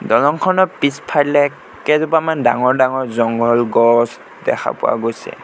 দলংখনৰ পিছফালে কেইজোপামান ডাঙৰ ডাঙৰ জংঘল গছ দেখা পোৱা গৈছে।